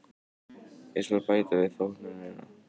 Ég skal bæta við þóknunina.